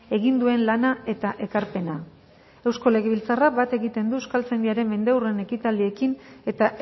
egin duen lana eta ekarpena eusko legebiltzarrak bat egiten du euskaltzaindiaren mendeurren ekitaldiekin eta